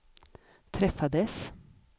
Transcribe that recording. träffades